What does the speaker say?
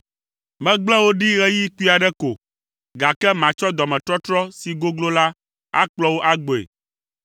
“Megble wò ɖi ɣeyiɣi kpui aɖe ko, gake matsɔ dɔmetɔtrɔ si goglo la akplɔ wò agbɔe.